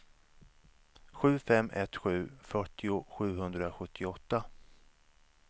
sju fem ett sju fyrtio sjuhundrasjuttioåtta